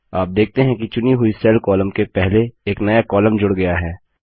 आप देखते हैं कि चुनी हुई सेल कॉलम के पहले एक नया कॉलम जूड़ गया है